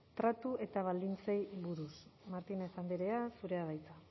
tratu eta baldintzei buruz martínez andrea zurea da hitza